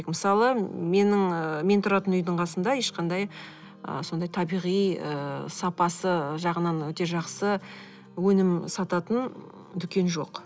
мысалы менің ы мен тұратын үйдің қасында ешқандай ы сондай табиғи ы сапасы жағынан өте жақсы өнім сататын дүкен жоқ